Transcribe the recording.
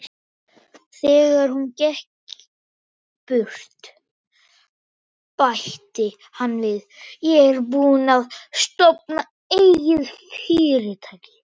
Þegar hún gekk burt, bætti hann við: Ég er búinn að stofna eigið fyrirtæki.